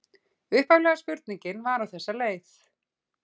Upphaflega spurningin var á þessa leið: